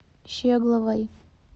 щегловой